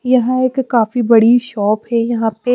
यह एक काफी बड़ी शॉप यहाँ पे --